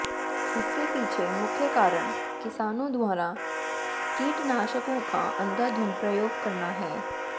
इसके पीछे मुख्य कारण किसानों द्वारा कीटनाशकों का अंधाधुंध प्रयोग करना है